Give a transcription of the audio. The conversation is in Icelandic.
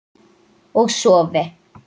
Og sofi.